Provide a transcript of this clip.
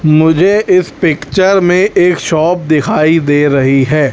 मुझे इस पिक्चर में एक शॉप दिखाई दे रही है।